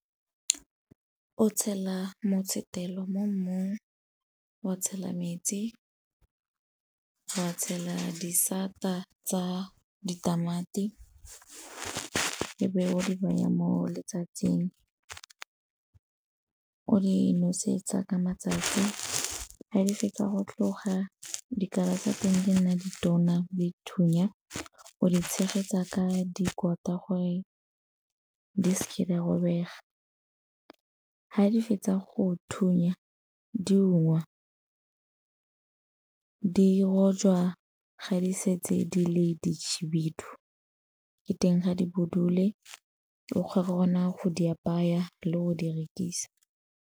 O tshela motshotelo mo mmung, wa tshela metsi, wa tshela disata tsa ditamati e be o di baya mo letsatsing. O di nosetsa ka matsatsi ga di fetsa go tloga dikala tsa teng di nna ditona dithunya, o di tshegetsa ka dikoto gore di seke di a robega. Ga di fetsa go thunya diungwa, di rojwa ga di setse di le dikhibidu ke teng ga di budule o kgona go di apaya le go di rekisa.